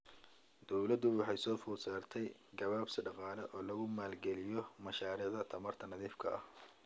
Dowladda waxaa soo food saartay gabaabsi dhaqaale oo lagu maalgeliyo mashaariicda tamarta nadiifka ah.